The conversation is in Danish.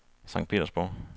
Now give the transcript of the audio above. Sankt Petersborg